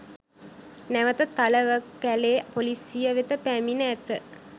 නැවත තලවකැලේ පොලිසිය වෙත පැමිණ ඇත